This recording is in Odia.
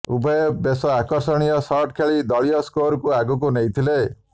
ଉଭୟ ବେଶ ଆକର୍ଷଣୀୟ ଶଟ୍ ଖେଳି ଦଳୀୟ ସ୍କୋରକୁ ଆଗକୁ ନେଇଥିଲେ